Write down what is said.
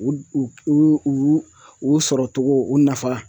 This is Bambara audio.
U u u u u sɔrɔcogo u nafa.